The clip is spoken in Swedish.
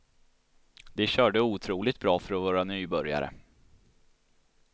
De körde otroligt bra för att vara nybörjare.